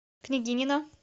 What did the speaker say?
княгинино